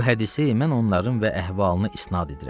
Bu hədisi mən onların və əhvalına isnad edirəm.